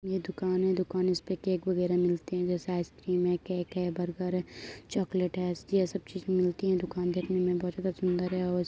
ये दुकान है। दुकान इसपे केक वगैरह मिलते हैं जैसे आइसक्रीम है केक है बर्गर है चॉकलेट है। इसकी ये सब चीज मिलती है। दुकान देखने में बहोत ज्यादा सुंदर है और इस --